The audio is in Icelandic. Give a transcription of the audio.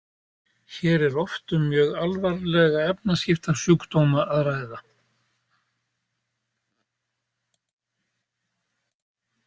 Hér er oft um mjög alvarlega efnaskiptasjúkdóma að ræða.